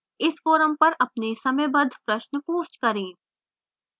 इस forum पर अपने समयबद्ध प्रश्न post करें